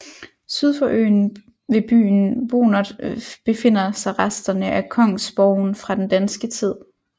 Syd for øen ved byen Bonert befinder sig resterne af kongsborgen fra den danske tid